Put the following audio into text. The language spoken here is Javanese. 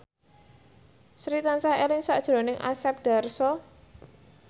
Sri tansah eling sakjroning Asep Darso